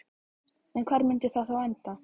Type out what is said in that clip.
En hvar myndi það þá enda?